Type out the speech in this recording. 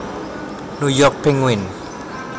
New York Penguin